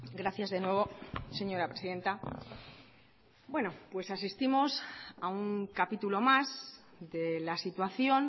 gracias de nuevo señora presidenta bueno pues asistimos a un capítulo más de la situación